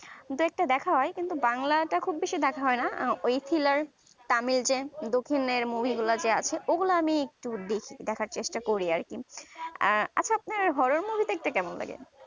দুই একটা দেখা হয় কিন্তু বাংলাটা বেশি দেখা হয়না ওই thriller tamil এর যে দক্ষিণ আর movie গুলা আছে ওগুলা আমি তো দেখ দেখার চেষ্টা করি আরকি আর আচ্ছা আপনার horror movie দেখতে কেমন লাগে